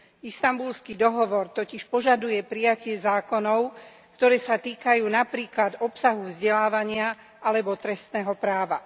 Istanbulský dohovor totiž požaduje prijatie zákonov, ktoré sa týkajú napríklad obsahu vzdelávania alebo trestného práva.